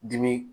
Dimi